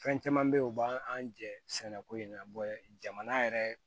Fɛn caman bɛ yen o b'an jɛ sɛnɛko in na jamana yɛrɛ